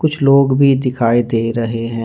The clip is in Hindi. कुछ लोग भी दिखाई दे रहे हैं।